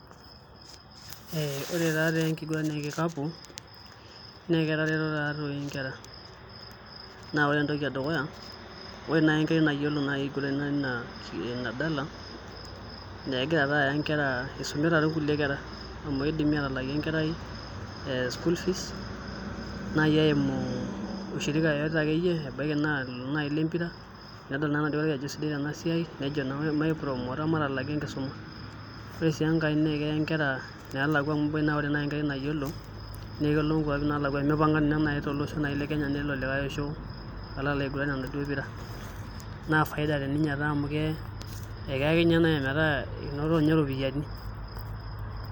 ore taa engiguran eenkikapu naa ketareto taadoi inkera naa ore entoki edukuya, naa ore naaji enkerai nayiolo inadala naa isumita ake kulie kera naa kidimi atalaaki enkerai school fees naaji eimu ushirika akeyie ebaki naaji naa olembira nedol naa enakerai ajo kisidai tenasiai neeku maipromoota matalaaki enkisuma , ore sii enkae naa keya inkera ineelakwa amu ebaki naaji naa ore enkerai nayiolo naa kelo inkwapi naalakwa omipang'a ninye naaji tolosho lekenya nelo likae osho alo alaiguran enaduoo pira , naa faida teninye amu keya naaji ometaa inotoninye iropiyiani.